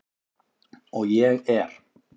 Og ég er.